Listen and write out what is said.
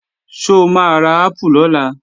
Ṣó máa ra ápù lọ́la?